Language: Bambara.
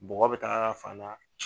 Bɔgɔ bi taa fan na